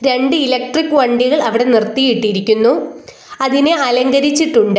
രണ്ട് ഇലക്ട്രിക് വണ്ടികൾ അവിടെ നിർത്തിയിട്ടിരിക്കുന്നു അതിനെ അലങ്കരിച്ചിട്ടുണ്ട്.